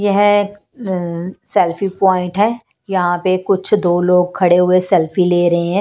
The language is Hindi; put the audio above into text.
यह सेल्फी पॉइंट है यहां पर कुछ दो लोग खड़े हुए सेल्फी ले रहे हैं।